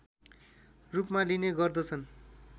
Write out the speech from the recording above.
रूपमा लिने गर्दछन्